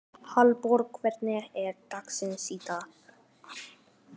Hallborg, hvernig er dagskráin í dag?